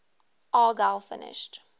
argyle finished